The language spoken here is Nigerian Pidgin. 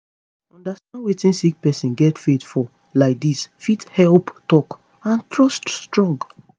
understand wetin sick pesin get faith for laidis fit help talk and trust strong